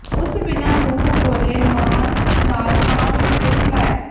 ਉਸ ਬਿਨਾ ਮੂੰਹੋਂ ਬੋਲੇ ਮਾਣ ਨਾਲ ਹਾਂ ਵਿਚ ਸਿਰ ਹਿਲਾਇਆ